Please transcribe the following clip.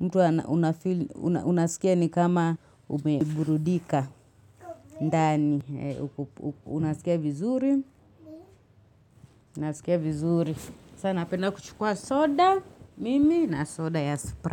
Mtu ana unafeel unasikia ni kama umeburudika ndani. Unasikia vizuri. Unasikia vizuri. Sa napenda kuchukua soda mimi na soda ya Sprite.